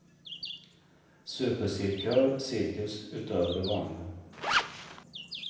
Supercirkör, cirkus utöver det vanliga.